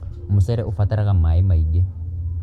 Mũcere ũbataraga maĩ maingĩ.